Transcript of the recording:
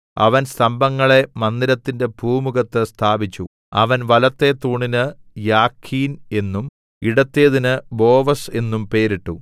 അവൻ സ്തംഭങ്ങളെ മന്ദിരത്തിന്റെ പൂമുഖത്ത് സ്ഥാപിച്ചു അവൻ വലത്തെ തൂണിന് യാഖീൻ എന്നും ഇടത്തേതിന് ബോവസ് എന്നും പേരിട്ടു